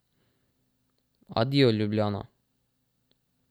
Adijo, Ljubljana.